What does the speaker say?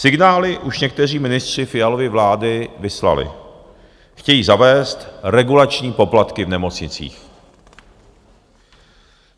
Signály už někteří ministři Fialovy vlády vyslali: chtějí zavést regulační poplatky v nemocnicích.